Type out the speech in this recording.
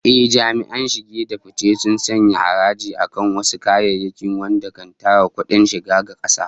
Ehh, jami'an shige da fice sun sanya haraji akan wasu kayayyakin wanda kan tara kudin shiga ga kasa